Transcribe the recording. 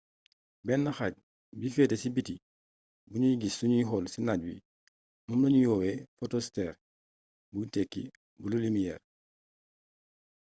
benn xaaj bi feete si biti buñuy gis sunuy xool ci naaj wi moom lañuy woowee fotosfeer buy tekki bulu limiyeer